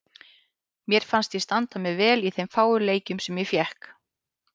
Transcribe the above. Mér fannst ég standa mig vel í þeim fáu leikjum sem ég fékk.